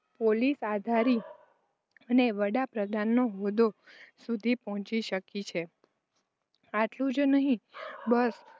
Police અધિકારી અને વડા પ્રધાનના હોદ્દા સુધી પહોંચી શકી છે. એટલું જ નહીં. બસ